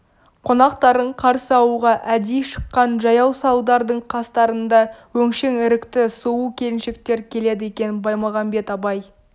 қонақтарын қарсы алуға әдейі шыққан жаяу салдардың қастарында өңшең ірікті сұлу келіншектер келеді екен баймағамбет абай